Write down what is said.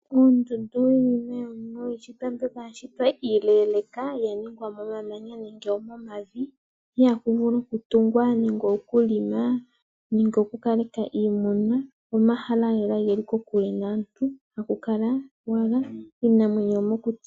Oondundu oyo iinima mbyoka ya shitwa iileeleeka, ya shitwa momamanya nenge momavi. Iha ku vulu okutungwa nenge okulima nenge okukaleka iimuna. Omahala lela ge li kokule naantu haku kala owala iinamwenyo yomokuti.